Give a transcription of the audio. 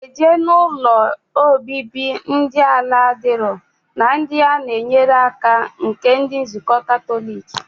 Oga eje na ụlọ obibi ndi ala adiro na ndi ana enyere aka nke ndi nzuko katolic.